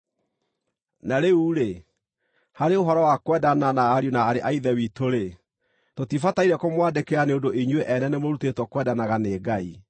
Na rĩu-rĩ, harĩ ũhoro wa kwendana na ariũ na aarĩ a Ithe witũ-rĩ, tũtibataire kũmwandĩkĩra nĩ ũndũ inyuĩ ene nĩmũrutĩtwo kwendanaga nĩ Ngai.